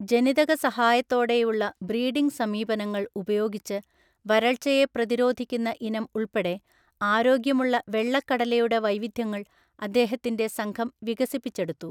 ജനിതക സഹായത്തോടെയുള്ള ബ്രീഡിംഗ് സമീപനങ്ങൾ ഉപയോഗിച്ച് വരൾച്ചയെ പ്രതിരോധിക്കുന്ന ഇനം ഉൾപ്പെടെ, ആരോഗ്യമുള്ള വെള്ളക്കടലയുടെ വൈവിധ്യങ്ങൾ അദ്ദേഹത്തിന്റെ സംഘം വികസിപ്പിച്ചെടുത്തു.